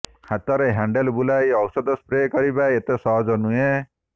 ହାତରେ ହ୍ୟାଣ୍ଡେଲ୍ ବୁଲାଇ ଔଷଧ ସ୍ପ୍ରେ କରିବା ଏତେ ସହଜ ନୁହେଁ